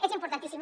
és importantíssim